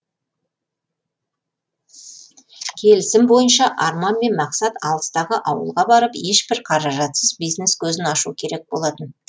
келісім бойынша арман мен мақсат алыстағы ауылға барып ешбір қаражатсыз бизнес көзін ашу керек болатын